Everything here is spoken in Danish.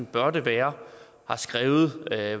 bør det være skriver